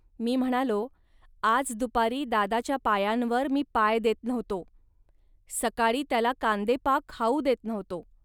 मी म्हणालो, "आज दुपारी दादाच्या पायांवर मी पाय देत नव्हतो. सकाळी त्याला कांदेपाक खाऊ देत नव्हतो